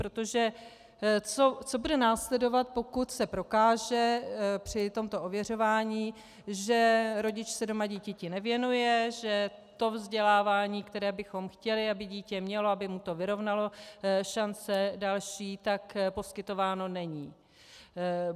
Protože co bude následovat, pokud se prokáže při tomto ověřování, že rodič se doma dítěti nevěnuje, že to vzdělávání, které bychom chtěli, aby dítě mělo, aby mu to vyrovnalo další šance, tak poskytováno není?